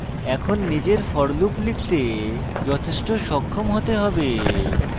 এখন নিজের for loop লিখতে যথেষ্ট সক্ষম হতে হবে